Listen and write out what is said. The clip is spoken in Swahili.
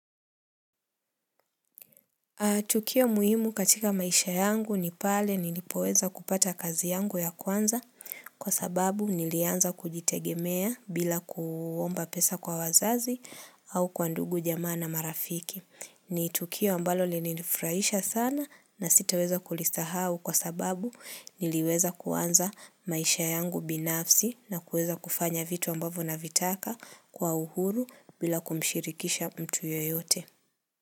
Tukio muhimu katika maisha yangu ni pale nilipoweza kupata kazi yangu ya kwanza kwa sababu nilianza kujitegemea bila kuomba pesa kwa wazazi au kwa ndugu jamaa na marafiki. Ni tukio ambalo lilinifurahisha sana na sitaweza kulisahau kwa sababu niliweza kuanza maisha yangu binafsi na kuweza kufanya vitu ambavyo navitaka kwa uhuru bila kumshirikisha mtu yoyote.